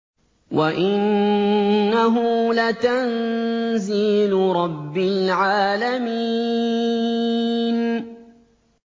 وَإِنَّهُ لَتَنزِيلُ رَبِّ الْعَالَمِينَ